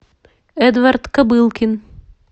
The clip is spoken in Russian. эдвард кобылкин